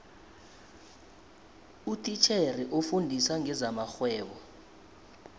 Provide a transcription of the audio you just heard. utitjhere ofundisa ngezamarhwebo